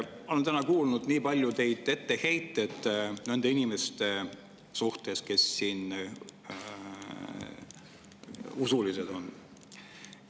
Olen täna kuulnud nii palju etteheiteid nende inimeste suhtes, kes siin usklikud on.